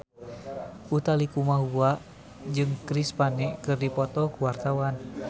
Utha Likumahua jeung Chris Pane keur dipoto ku wartawan